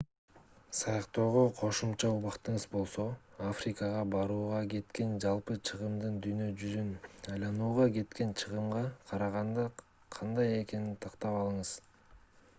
саякаттоого кошумча убактыңыз болсо африкага барууга кеткен жалпы чыгымдын дүйнө жүзүн айланууга кеткен чыгымга караганда кандай экенин тактап алыңыз